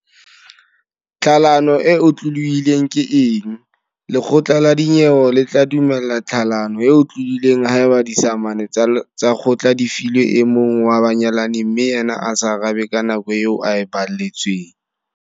Tlhalano e otlolohileng ke eng? Lekgotla la dinyewe le tla dumella tlhalano e otlolohileng haeba disamane tsa kgotla di filwe e mong wa banyalani mme yena a sa arabe ka nako eo a e baletsweng.